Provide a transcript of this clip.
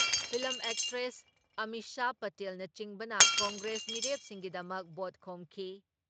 Film actress Amisha ꯄꯇꯦꯜꯅꯆꯤꯡꯕꯅ ꯀꯪꯒ꯭ꯔꯦꯁ ꯃꯤꯔꯦꯞꯁꯤꯡꯒꯤꯗꯃꯛ vote ꯈꯣꯝꯈꯤ ꯫